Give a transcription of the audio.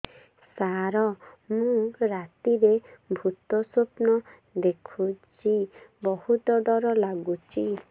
ସାର ମୁ ରାତିରେ ଭୁତ ସ୍ୱପ୍ନ ଦେଖୁଚି ବହୁତ ଡର ଲାଗୁଚି